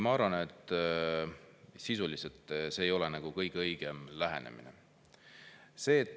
Ma arvan, et sisuliselt see ei ole nagu kõige õigem lähenemine.